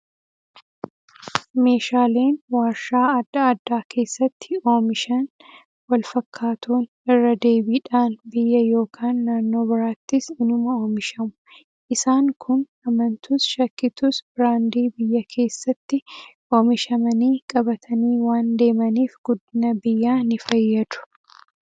Meeshaaleen waarshaa adda addaa keessatti oomishan wal fakkaatoon irra deebiidhaan biyya yookaan naannoo biraattis inuma oomishamu. Isaan kun amantus shakkitus biraandii biyya keessatti oomishamanii qabatanii waan deemaniif guddina biyyaa ni fayyadu.